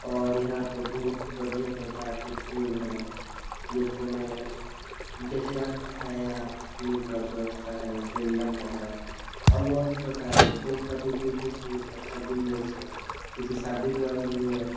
और यहाँ बहुत बढ़िया प्रकार के फुल हैं जिसमें गजरा क हैं यहाँ फुल का व्यवस्था है गेंदा का है और बहुत ही प्रकार के फुल का बीज भी बहुत अच्छा बिसनेस है इसे शादी-विवाह में ले जा सकते --